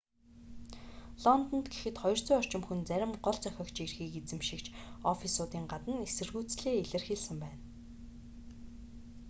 лондонд гэхэд 200 орчим хүн зарим гол зохиогчийн эрхийг эзэмшигч оффисуудын гадна эсэргүүцлээ илэрхийлсэн байна